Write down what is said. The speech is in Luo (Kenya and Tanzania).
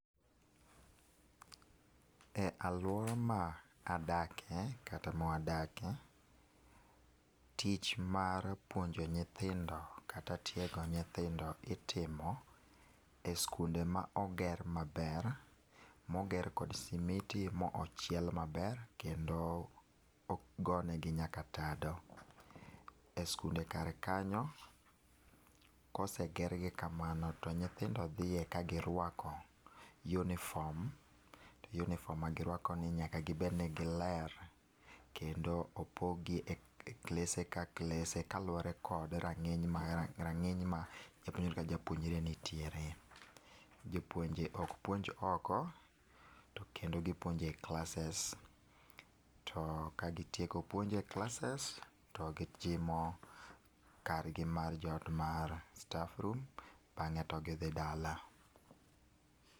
E aluora ma adakie kata ma wadakie, tich mar puonjo nyithindo kata mar tiego nyithindo itimo e skunde ma oger maber, ma oger kod simiti ma ochiel maber ,kendo ogone gi nyaka tado, e skunde kar kanyo ka oseger gi kamano to nyithindo dhiye ka gi rwako uniform .Uniform ma gi rwako gi nyaka gi bed ni gi ler kendo opog gi e classes ka classes kaluore kod rang'iny ma rang'iny ma japuonjre ka japuonjre nitiere. Jopounje ok puonj oko to kendo gi puonjo e classes to gi tieko puonjo e classes to ka gi tieko puonje e classes to gi jimo kar gi mar jot mar staffroom, bang'e to gi dhi dala.